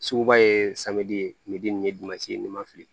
Suguba ye nin ye ni ma fili